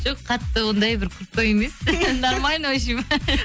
жоқ қатты ондай бір крутой емес нормально вообщем